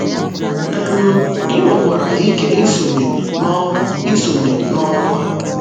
um Ị nwekwara ike isonye n’ọrụ isonye n’ọrụ a.